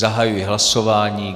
Zahajuji hlasování.